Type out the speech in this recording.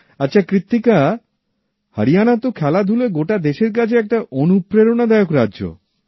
আচ্ছা কৃত্তিকা হরিয়ানা তো খেলাধুলায় গোটা দেশের কাছে একটি অনুপ্রেরণাদায়ক রাজ্য